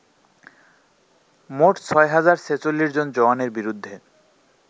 মোট ৬০৪৬ জন জওয়ানের বিরুদ্ধে